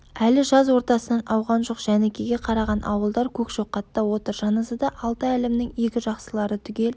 әлі жаз ортасынан ауған жоқ жәнікеге қараған ауылдар көкшоқатта отыр жаназада алты әлімнің игі жақсылары түгел